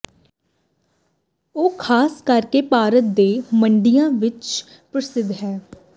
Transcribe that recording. ਉਹ ਖਾਸ ਕਰਕੇ ਭਾਰਤ ਦੇ ਮੰਡੀਆਂ ਵਿੱਚ ਪ੍ਰਸਿੱਧ ਹਨ